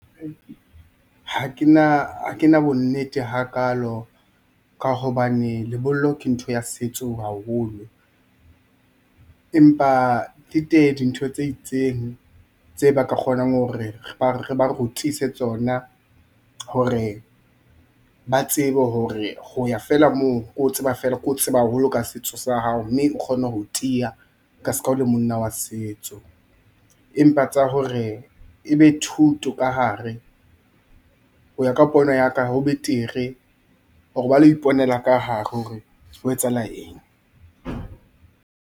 Ha ke na bo nnete hakalo ka hobane lebollo ke ntho ya setso haholo. Empa di teng dintho tse itseng tse ba ka kgonang hore re ba rutise tsona hore ba tsebe hore ho ya feela moo. Ke o tseba haholo ka setso sa hao mme o kgone ho tiya ka ska o le monna wa setso. Empa tsa hore ebe thuto ka hare, ho ya ka pono ya ka ho betere hore ba lo iponela ka hare hore ho etsahala eng.